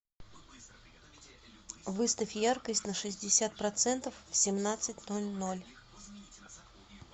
выставь яркость на шестьдесят процентов в семнадцать ноль ноль